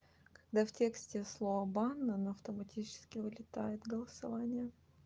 когда в тексте слово банан автоматически вылетает голосование